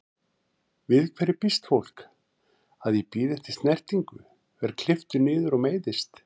Við hverju býst fólk, að ég bíði eftir snertingu, verð klipptur niður og meiðist?